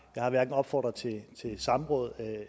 jeg har hverken opfordret til et samråd